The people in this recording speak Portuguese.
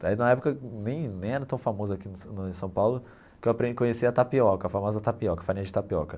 Na época nem nem era tão famoso aqui no em São Paulo que eu aprendi a conhecer a tapioca, a famosa tapioca, farinha de tapioca.